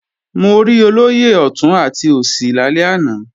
Mo rí olóyè ọ̀tún àti òsì lálẹ́ àná